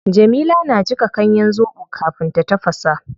Jamila na jika ganyen zobo kafin ta tafasa